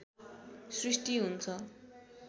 सृष्टि हुन्छ